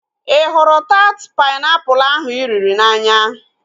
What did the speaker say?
Ị hụrụ taat painiapulu ahu ị riri n'anya?